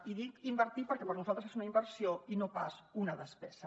i dic invertir perquè per nosaltres és una inversió i no pas una despesa